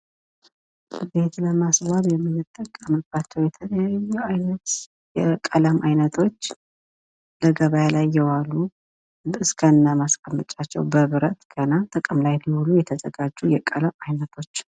ቤት ለማስዋብ የምንቀምባቸው የተለያዪ እይነት ቀለሞች በገበያ ላይ እየዋሉ። እስከነ መቀመጫቸው በብረት። ጥቅም ላይ ሊውሉ የተዘጋጁ የቀለም አይነቶች ።